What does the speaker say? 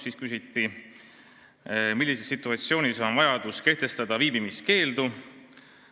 Siis küsiti, millises situatsioonis on vaja kehtestada viibimiskeeldu.